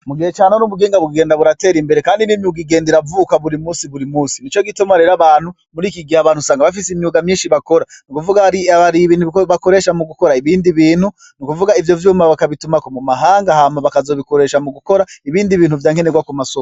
Mugihe cane n'ubuginga buggenda buratera imbere, kandi ni m ugigende ra avuka buri musi buri musi ni co gituma rero abantu muri iki gihe abantu sanga bafise imyuga myinshi bakora ni kuvuga ri ab ari bintukuko bakoresha mu gukora ibindi bintu ni ukuvuga ivyo vyuma bakabitumako mu mahanga hama bakazobikoresha mu gukora ibindi bintu vyankenerwa ku masoba.